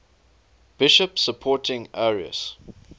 bishops supporting arius